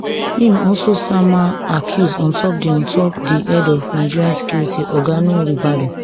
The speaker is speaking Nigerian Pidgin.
im also sama accuse ontop di ontop di head of nigeria security oga nuhu ribadu